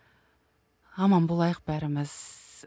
аман болайық бәріміз